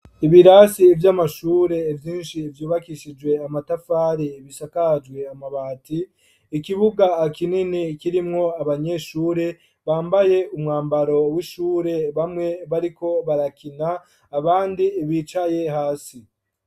Ibirasi vy'amashure, vyinshi, vyubakishijwe amatafari, bisakajwe amabati; ikibuga kinini, kirimwo abanyeshure, bambaye umwambaro w'ishure; bamwe bariko barakina, abandi bicaye hasi.